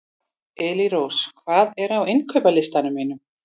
Elírós, hvað er á innkaupalistanum mínum?